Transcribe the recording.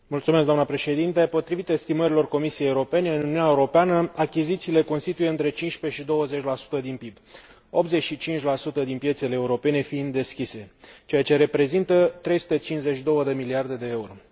Doamnă președinte, potrivit estimărilor Comisiei Europene, în Uniunea Europeană achizițiile constituie între 15 și 20 din PIB, 85 din piețele europene fiind deschise, ceea ce reprezintă 352 de miliarde de euro.